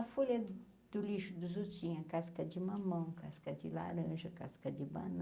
A folha do do lixo dos outros tinha casca de mamão, casca de laranja, casca de banana.